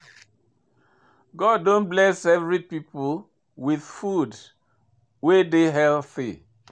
God don bless every people with food wey dey healthy.